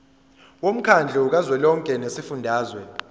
womkhandlu kazwelonke wezifundazwe